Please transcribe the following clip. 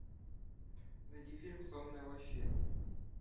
найди фильм сонная лощина